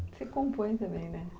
Você compõe também, né?